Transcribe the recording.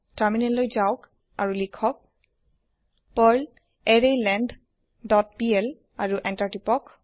terminal যাওক আৰু লিখক পাৰ্ল এৰেইলেংথ ডট পিএল আৰু এন্টাৰ টিপক